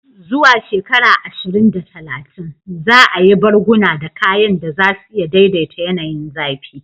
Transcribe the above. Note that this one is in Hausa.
Zuwa shekara ashirin da talatin, za a yi barguna da kayan da za su iya daidaita yanayin zafi.